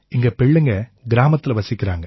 எங்க பிள்ளைங்க கிராமத்தில வசிக்கறாங்க